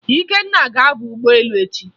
Ikenna ga-aba ụgbọelu echi